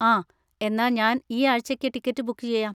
ആ, എന്നാ ഞാൻ ഈ ആഴ്ച്ചക്ക് ടിക്കറ്റ് ബുക്ക് ചെയ്യാം.